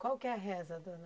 Qual que é a reza, dona